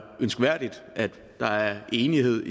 ønskværdigt at der er enighed